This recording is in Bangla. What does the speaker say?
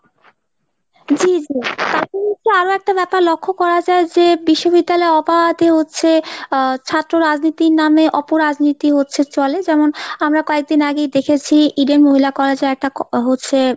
তারপরে দেখছি আরো একটা ব্যাপার লক্ষ্য করা যায় যে নিশ্ববিদ্যালয়ে অবাধে হচ্ছে আহ ছাত্র রাজনীতির নামে অপরাজনীতি হচ্ছে চলে যেমন আমরা কয়েকদিন আগেই দেখেছি Eden মহিলা college এ একটা হচ্ছে